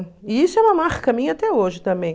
E isso é uma marca minha até hoje também.